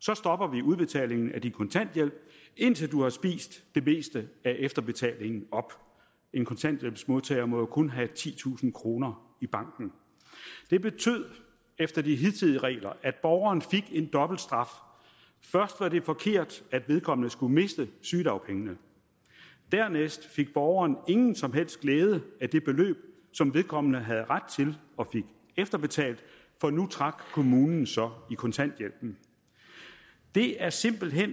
så stopper vi udbetalingen af din kontanthjælp indtil du har spist det meste af efterbetalingen op en kontanthjælpsmodtager må jo kun have titusind kroner i banken det betød efter de hidtidige regler at borgeren fik en dobbeltstraf først var det forkert at vedkommende skulle miste sygedagpengene dernæst fik borgeren ingen som helst glæde af det beløb som vedkommende havde ret til og fik efterbetalt for nu trak kommunen så i kontanthjælpen det er simpelt hen